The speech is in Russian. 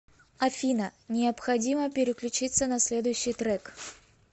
афина необходимо переключиться на следующий трек